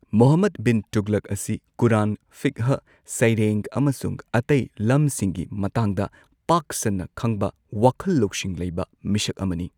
ꯃꯨꯍꯝꯃꯗ ꯕꯤꯟ ꯇꯨꯒꯂꯛ ꯑꯁꯤ ꯀꯨꯔꯥꯟ, ꯐꯤꯛꯍ, ꯁꯩꯔꯦꯡ ꯑꯃꯁꯨꯡ ꯑꯇꯩ ꯂꯝꯁꯤꯡꯒꯤ ꯃꯇꯥꯡꯗ ꯄꯥꯛ ꯁꯟꯅ ꯈꯪꯕ ꯋꯥꯈꯜ ꯂꯧꯁꯤꯡ ꯂꯩꯕ ꯃꯤꯁꯛ ꯑꯃꯅꯤ꯫